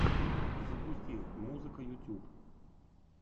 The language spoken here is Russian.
запусти музыка ютюб